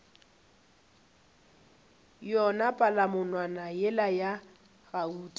yona palamonwana yela ya gauta